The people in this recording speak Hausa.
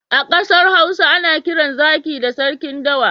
A ƙasar Hausa ana kiran zaki da sarkin dawa.